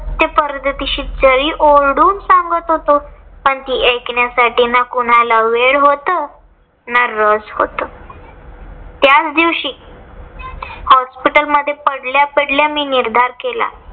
ते जरी ओरडून सांगत होतो. पण ती ऐकण्यासाठी न कुणाला वेळ होतं ना रस होतं. त्याचदिवशी hospital मध्ये पडल्या पडल्या मी निर्धार केला.